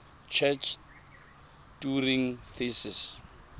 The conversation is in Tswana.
church turing thesis